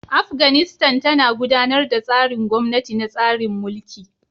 Afganistan tana gudanar da tsarin gwamnati na tsarin mulki.